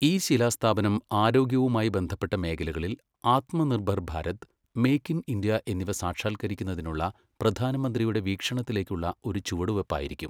ഈ ശിലാസ്ഥാപനം ആരോഗ്യവുമായി ബന്ധപ്പെട്ട മേഖലകളിൽ Atmanirbhar Bharat, make in India എന്നിവ സാക്ഷാൽകരിക്കുന്നതിനുള്ള പ്രധാനമന്ത്രിയുടെ വീക്ഷണത്തിലേക്കുള്ള ഒരു ചുവടുവയ്പ്പായിരിക്കും.